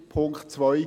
Punkt 2